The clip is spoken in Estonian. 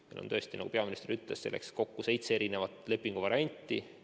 Meil on, nagu peaminister ütles, selleks kokku seitse lepinguvarianti.